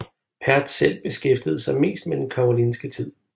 Pertz selv beskæftigede sig mest med den karolingiske tid